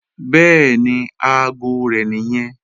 Bẹ́ẹ̀ni, aago rẹ̀ nìyẹn